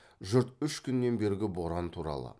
жұрт үш күннен бергі боран туралы